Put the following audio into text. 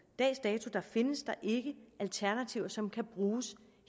dags dato findes der ikke alternativer som kan bruges